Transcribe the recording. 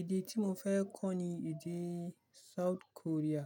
Èdè tí mo fẹ́ kọ́ ni èdè South Korea.